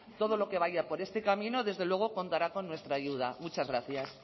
todo lo que vaya por este camino desde luego contará por nuestra ayuda muchas gracias